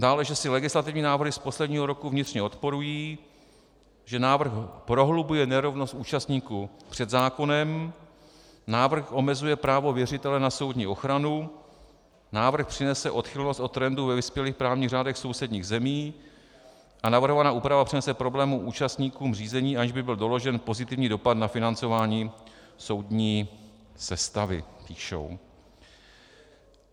Dále, že si legislativní návrhy z posledního roku vnitřně odporují, že návrh prohlubuje nerovnost účastníků před zákonem, návrh omezuje právo věřitele na soudní ochranu, návrh přinese odchylnost od trendu ve vyspělých právních řádech sousedních zemí a navrhovaná úprava přinese problémy účastníkům řízení, aniž by byl doložen pozitivní dopad na financování soudní sestavy, píšou.